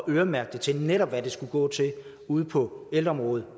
øremærke netop hvad pengene skulle gå til ude på ældreområdet